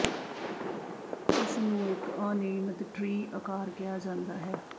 ਇਸ ਨੂੰ ਇਕ ਅਨਿਯਮਿਤ ਟ੍ਰੀ ਆਕਾਰ ਕਿਹਾ ਜਾਂਦਾ ਹੈ